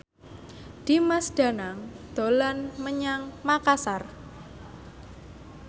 Dimas Danang dolan menyang Makasar